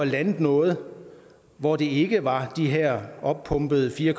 landet noget hvor det ikke var de her oppumpede fire